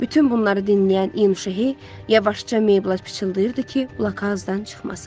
Bütün bunları dinləyən Yuno Şehi yavaşca Meyblə pıçıldayırdı ki, blokazdan çıxmasın.